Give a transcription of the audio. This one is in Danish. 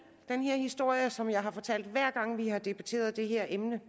den historie som jeg har fortalt hver gang vi har debatteret det her emne